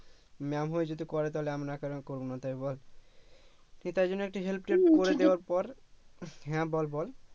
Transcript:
MA'AM হয়ে যদি করে তাহলে আমরা কেন করবো না তাই বস ঠিক তাইজন্য একটু help টেল্প করে দেয়ার পর হ্যা বল বল